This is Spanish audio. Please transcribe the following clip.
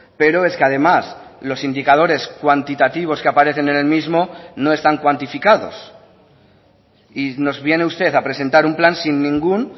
pero es que además los indicadores cuantitativos que aparecen en el mismo no están cuantificados y nos viene usted a presentar un plan sin ningún